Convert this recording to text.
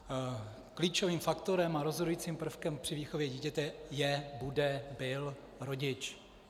Klíčovým faktorem a rozhodujícím prvkem při výchově dítěte je, bude, byl rodič.